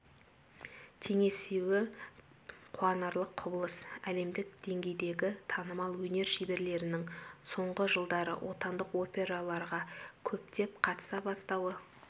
теңесуі қуанарлық құбылыс әлемдік деңгейдегі танымал өнер шеберлерінің соңғы жылдары отандық операларға көптеп қатыса бастауы